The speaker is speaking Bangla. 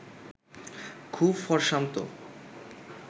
খুব ফরসামতো